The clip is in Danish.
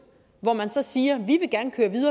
og at man så siger